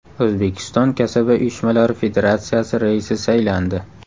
O‘zbekiston Kasaba uyushmalari federatsiyasi raisi saylandi.